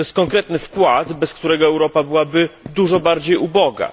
To jest konkretny wkład, bez którego Europa byłaby dużo bardziej uboga.